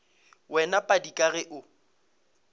wena padi ka ge o